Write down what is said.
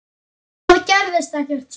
Það gerðist ekkert, svaraði hún.